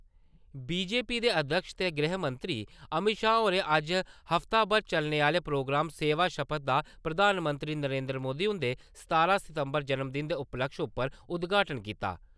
BJP दे अध्यक्ष ते गृहमंत्री अमित शाह होरें अज्ज हफ्ताभर चलने आहले प्रोग्राम सेवा सपथ दा प्रधानमंत्री नरेन्द्र मोदी हुन्दे सतारहां सितम्बर जन्मदिन दे उपलक्ष्य उप्पर उदघाटन कीता।